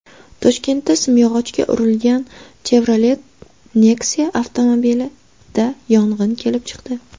Toshkentda simyog‘ochga urilgan Chevrolet Nexia avtomobilida yong‘in kelib chiqdi.